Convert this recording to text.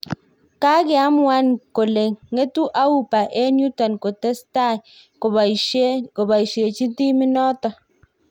Kakeamuan kole ngetu Auba en yuton kotestai kobaisiechi timit niton